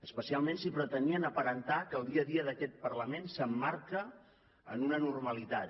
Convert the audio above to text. especialment si pretenien aparentar que el dia a dia d’aquest parlament s’emmarca en una normalitat